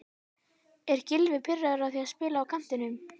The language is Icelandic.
Er Gylfi pirraður á því að spila á kantinum?